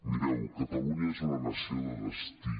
mireu catalunya és una nació de destí